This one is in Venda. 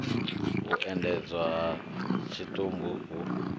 u endedzwa ha tshitumbu hu